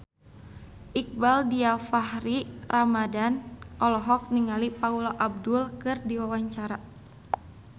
Iqbaal Dhiafakhri Ramadhan olohok ningali Paula Abdul keur diwawancara